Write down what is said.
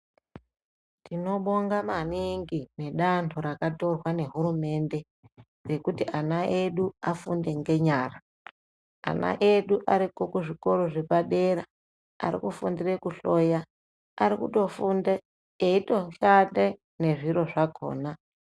Tinobonga maningi nedanto rakatorwa nehurumende rekuti ana edu afunde ngenyara. Ana edu ariko kuzvikora zvepadera ari kufundire kuhloya, ari kutofunde eitoshande nezviro zvakhona.